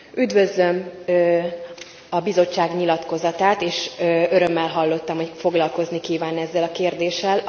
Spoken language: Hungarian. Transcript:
Üdvözlöm a Bizottság nyilatkozatát, és örömmel hallottam, hogy foglalkozni kíván ezzel a kérdéssel.